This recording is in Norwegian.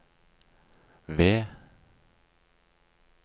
ved